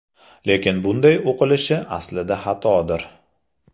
Lekin bunday o‘qilish aslida xatodir.